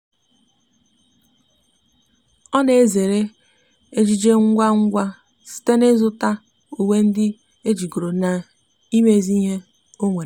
ọ na ezere ejiji ngwa ngwa site na izu ta uwe ndi ejigoro na imezi ihe onwere